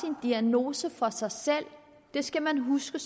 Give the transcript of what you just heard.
en diagnose for sig selv det skal man huske